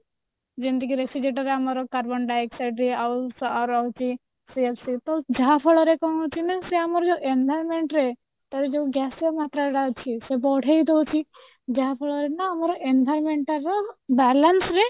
ଯେମିତି କି refrigerator ରେ ଆମର carbon dioxide ଦିଏ ଆଉ ରହୁଛି ଯାହା ଫଳରେ କଣ ହଉଛି ନା ଆମର ଯୋଉ environment ରେ ତ ଏଇ ଯୋଉ glossier ମାତ୍ରା ଟା ଅଛି ସେ ବଢେଇ ଦଉଛି ଯାହା ଫଳରେ ନା ଆମର environment ର balance ରେ